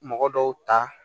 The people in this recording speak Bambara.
Mɔgɔ dɔw ta